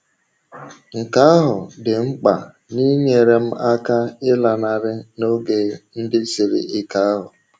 Nke ahụ dị mkpa n’inyere m aka ịlanarị n’oge ndị siri ike ahụ.